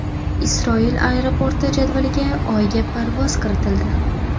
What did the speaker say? Isroil aeroporti jadvaliga Oyga parvoz kiritildi.